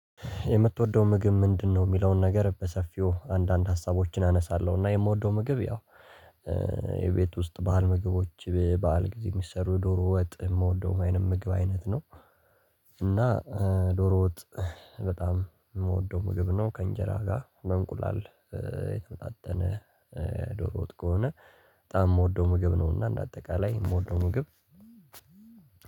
የምትወደው ምግብ ምንድነው? የሚለውን ነገር በሰፊው አንዳንድ ሀሳቦችን አነሳለሁ እና የምወደው ምግብ ያው ውስጥ በዓል ምግቦች በዓል ጊዜ የሚሰሩ የዶሮ ወጥ የምወደው ወይንም ምግብ አይነት ነው ዶሮ ወጥ በጣም የምወደው ምግብ ነው ከእንጀራ ጋር በእንቁላል የተመጣጠነ ዶሮ ወጥ ከሆነ በጣም የምወደው ምግብ ነውና እንደ አጠቃላይ የምወደው ምግብ